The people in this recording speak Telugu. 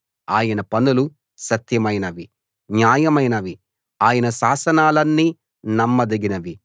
ఆయన పనులు సత్యమైనవి న్యాయమైనవి ఆయన శాసనాలన్నీ నమ్మదగినవి